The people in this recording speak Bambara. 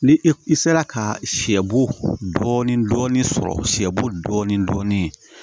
Ni i sera ka sɛ bo dɔɔni dɔɔni sɔrɔ siyɛbo dɔɔni dɔɔni